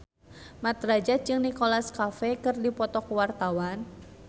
Mat Drajat jeung Nicholas Cafe keur dipoto ku wartawan